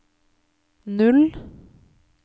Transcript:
null